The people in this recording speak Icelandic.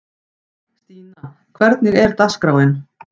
Stína, hvernig er dagskráin?